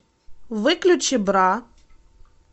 выключи бра